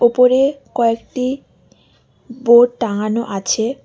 ওপরে কয়েকটি বোর্ড টাঙানো আছে।